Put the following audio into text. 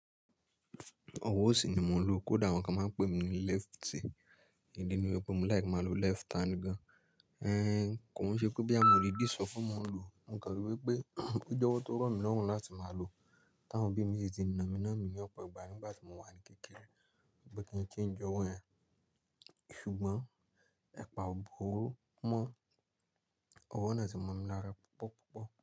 Ọwọ́ ọ̀sì ni mo ń lo, kódà àwọn kan máa ń pè mi ní leftie. Ìdí ni wípé mo like máa lo left hand gan-an. Kò n ṣe boya mo rí bí ìsọ̀fọ̀ máa ń lu, mo ro wípé, pé jọ̀wọ́ tó rọ̀ mí lọ́run láti máa lo tán awon obí mi ṣe ti nàmí nàmí ní ọ̀pọ̀ ìgbà nígbà tí mo wà ní kékeré wípé kí n change ọwọ́ yẹn. Ṣùgbọ́n, ẹ̀pa ọ̀bọro mọ́ ọwọ́ náà ti ma mi lára púpọ̀ púpọ̀